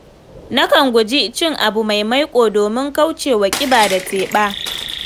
Nakan guji cin abu mai maiƙo domin kauce ƙiba da teɓa.